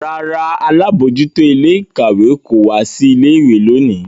Rárá, alabojuto ile-ikawe ko wa si ile-iwe loni.